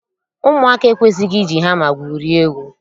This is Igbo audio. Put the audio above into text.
Ụmụaka ekwesịghị iji hama gwurie egwu